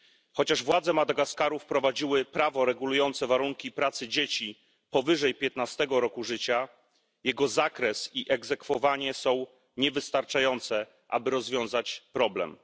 Chociaż władze Madagaskaru wprowadziły prawo regulujące warunki pracy dzieci powyżej 15 roku życia, jego zakres i egzekwowanie są niewystarczające, aby rozwiązać problem.